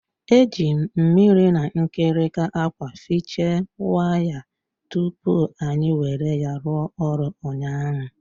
Eji m mmiri na nkirika akwa fiche wire tupu anyi were ya rụọ ọrụ ụnyaahụ.